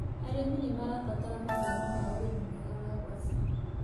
Arĩmi nĩmarabatara mathomo ma ũrĩmi mwega wa ngwacĩ.